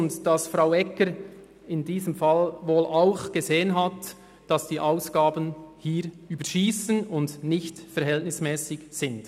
Diese hat scheinbar erkannt, dass die Ausgaben überschiessen und unverhältnismässig sind.